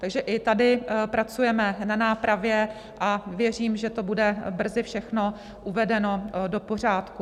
Takže i tady pracujeme na nápravě a věřím, že to bude brzy všechno uvedeno do pořádku.